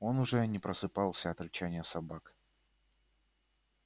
он уже не просыпался от рычания собак